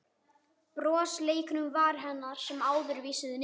Bros leikur um varir hennar sem áður vísuðu niður.